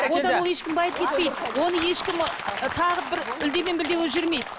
одан ол ешкім байып кетпейді оны ешкім ы тағып бір үлде мен бүлде болып жүрмейді